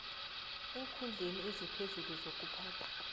eenkhundleni eziphezulu zokuphatha